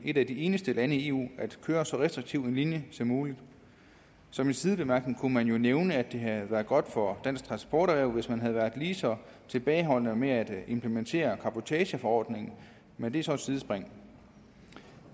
et af de eneste lande i eu at køre så restriktiv en linje som muligt som en sidebemærkning kunne man jo nævne at det havde været godt for dansk transporterhverv hvis man havde været lige så tilbageholdende med at implementere cabotageforordningen men det er så et sidespring